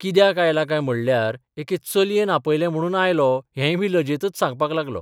कित्याक आयला काय म्हणल्यार एके चलयेन आपलयें म्हणून आयलो हेंयबी लजेतच सांगपाक लागलो.